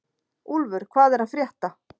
Úlfur, hvað er að frétta?